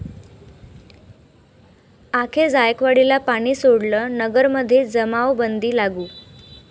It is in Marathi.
अखेर जायकवाडीला पाणी सोडलं, नगरमध्ये जमावबंदी लागू